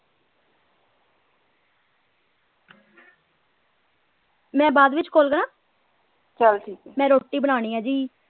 ਮੈਂ ਬਾਅਦ ਵਿੱਚ call ਕਰਾ ਮੈਂ ਰੋਟੀ ਬਣਾਉਣੀ ਹੈ ਜੀ।